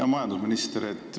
Hea majandusminister!